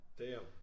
Damn